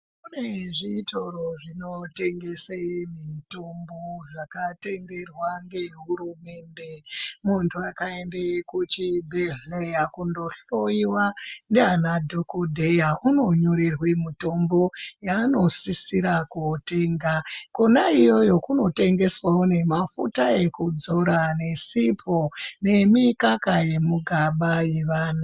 Kune zvitoro zvinotengese mutombo zvakatenderwa ngehurumende muntu akaende kuchibhedhleya kundohloiwa ndiana dhokodheya unonyorerwe mutombo yaanosisira kotenga kona iyoyo kunotengeswawo nemafuta ekudzora nesipo nemikaka yemigaba yevana.